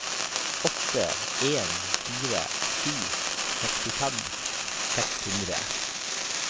åtte en fire sju sekstifem seks hundre